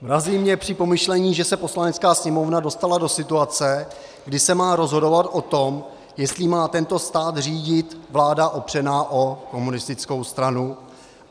Mrazí mě při pomyšlení, že se Poslanecká sněmovna dostala do situace, kdy se má rozhodovat o tom, jestli má tento stát řídit vláda opřená o komunistickou stranu.